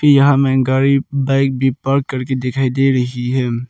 यहां में गाड़ी बाइक भी पार्क करके दिखाई दे रही है।